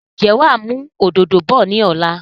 Ǹjẹ́ wàá mú òdòdó bọ̀ ni ọ̀la?